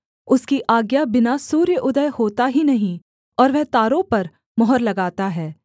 उसकी आज्ञा बिना सूर्य उदय होता ही नहीं और वह तारों पर मुहर लगाता है